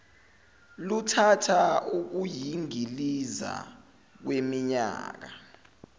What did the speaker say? luthatha ukuyingiliza kweminyaka